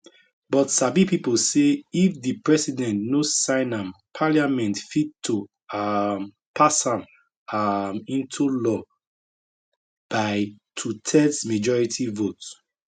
but sabi pipo say if di president no sign am parliament fit to um pass am um into law by twothirds majority vote